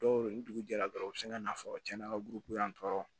Dɔw bɛ yen ni dugu jɛra dɔrɔn u bɛ sin ka na fɔ cɛn na buruko yan tɔ